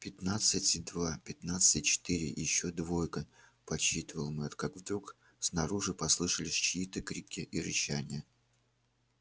пятнадцать и два пятнадцать и четыре и ещё двойка подсчитывал мэтт как вдруг снаружи послышались чьи то крики и рычание